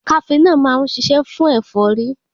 Kafenọ́ọ̀ má ń ṣiṣẹ́ fún ẹ̀fọ́rí.